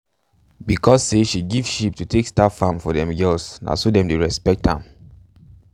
because say she give sheep to take start farm for them girls na so them dey respect am.